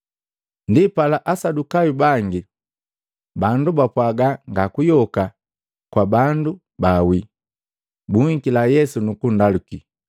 Ndipala Asadukayu bangi, bandu bapwaga nga kuyoka kwa bandu bawii, buhikila Yesu nukundaluki,